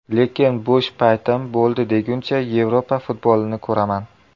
Lekin bo‘sh paytim bo‘ldi deguncha, Yevropa futbolini ko‘raman.